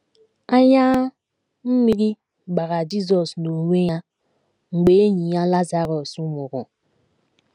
“ Anya mmiri gbara ” Jizọs n’onwe ya mgbe enyi ya Lazarọs nwụrụ.